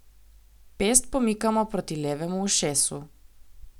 Pest pomikamo proti levemu ušesu.